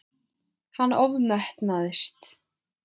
Hann ofmetnaðist.